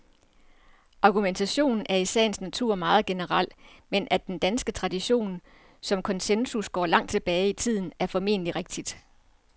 Argumentationen er i sagens natur meget generel, men at den danske tradition for konsensus går langt tilbage i tiden, er formentlig rigtigt.